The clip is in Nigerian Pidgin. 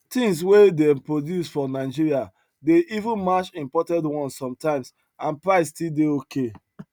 things wey dem produce for nigeria dey even match imported ones sometimes and price still dey okay